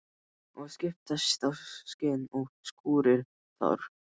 Það skiptast á skin og skúrir þar.